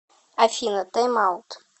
афина тайм аут